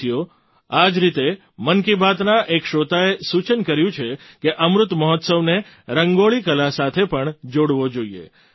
સાથીઓ આ જ રીતે મન કી બાતના એક શ્રોતાએ સૂચન કર્યું છે કે અમૃત મહોત્સવને રંગોળી કલા સાથે પણ જોડવો જોઈએ